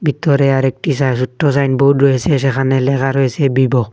ভিতরে আরেকটি সা ছোট্ট সাইনবোর্ড রয়েসে সেখানে লেখা রয়েসে বিবো ।